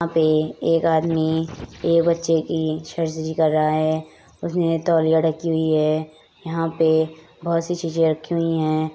यहाँ पे एक आदमी एक बच्चे की सर्जरी कर रहा है उसमे तौलिया रखी हुई है| यहाँ पे बहुत सी चीजें रखी हुई है।